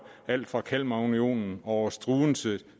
alt fra kalmarunionen over struense